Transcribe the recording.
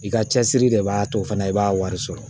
I ka cɛsiri de b'a to fana i b'a wari sɔrɔ